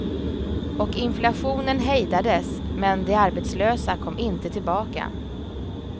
Och inflationen hejdades, men de arbetslösa kom inte tillbaka.